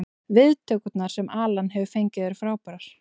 Viðtökurnar sem Alan hefur fengið eru frábærar.